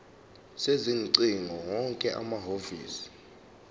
sezingcingo wonke amahhovisi